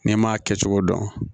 N'i m'a kɛ cogo dɔn